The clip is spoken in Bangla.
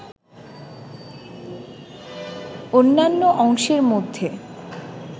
অন্যান্য অংশের মধ্যে